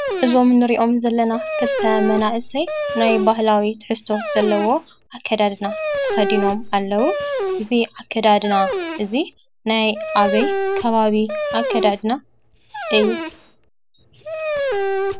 እዞም ንሪኦም ዘለና ክልተ መናእሰይ ናይ ባህላዊ ትሕዝቶ ዘለዎ ኣከዳድና ተኸዲኖም ኣለዉ:: እዚ ኣከዳድና እዚ ናይ ኣበይ ከባቢ ኣከዳድና እዩ?